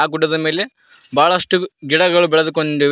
ಆ ಗುಡ್ಡದ ಮೇಲೆ ಬಹಳಷ್ಟು ಗಿಡಗಳು ಬೆಳೆದುಕೊಂಡಿವೆ.